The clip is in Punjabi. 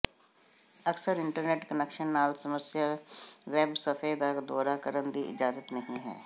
ਅਕਸਰ ਇੰਟਰਨੈੱਟ ਕੁਨੈਕਸ਼ਨ ਨਾਲ ਸਮੱਸਿਆ ਵੈੱਬ ਸਫ਼ੇ ਦਾ ਦੌਰਾ ਕਰਨ ਦੀ ਇਜਾਜ਼ਤ ਨਹੀ ਹੈ